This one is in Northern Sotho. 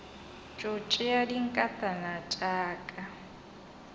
tšo tšea dinkatana tša ka